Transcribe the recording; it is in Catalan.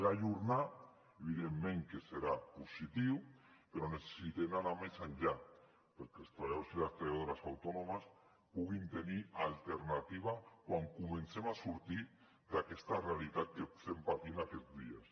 l’ajornar evidentment que serà positiu però necessitem anar més enllà perquè els treballadors i les treballadores autònomes puguin tenir alternativa quan comencem a sortir d’aquesta realitat que estem patint aquests dies